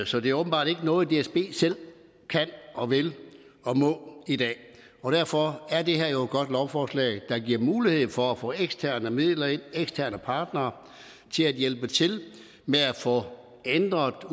så det er åbenbart ikke noget dsb selv kan og vil og må i dag og derfor er det her jo et godt lovforslag der giver mulighed for at få eksterne midler ind og eksterne partnere til at hjælpe til med at få ændret